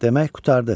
Demək qurtardı.